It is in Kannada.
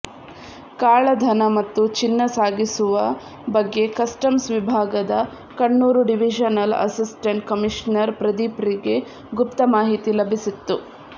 ಕಾಳಧನ ಮತ್ತು ಚಿನ್ನ ಸಾಗಿಸುವ ಬಗ್ಗೆ ಕಸ್ಟಮ್ಸ್ ವಿಭಾಗದ ಕಣ್ಣೂರು ಡಿವಿಷನಲ್ ಅಸಿಸ್ಟೆಂಟ್ ಕಮಿಷನರ್ ಪ್ರದೀಪ್ರಿಗೆ ಗುಪ್ತ ಮಾಹಿತಿ ಲಭಿಸಿತ್ತು